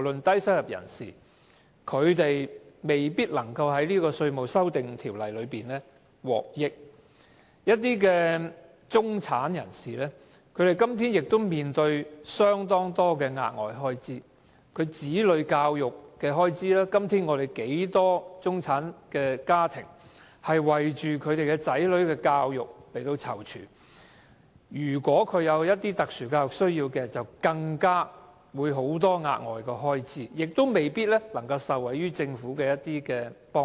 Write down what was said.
低收入人士未必能夠受惠於《條例草案》，而一些中產人士現時亦面對很多額外開支，包括子女教育的開支，很多中產家庭都要為子女的教育躊躇，而有特殊教育需要的額外開支尤其多，但他們卻未必能夠受惠於政府的幫助。